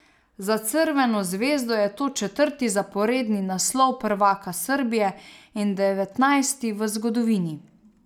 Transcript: Za Crveno zvezdo je to četrti zaporedni naslov prvaka Srbije in devetnajsti v zgodovini.